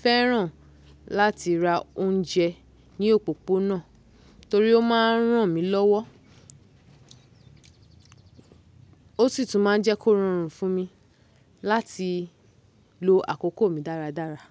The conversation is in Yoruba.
fẹ́ràn láti ra oúnjẹ ní òpópónà torí ó ma n ràn mí lọ́wọ́, ó sì tún ma n jẹ́ kó rọrùn fún mi láti lo àkókò mi dáradára.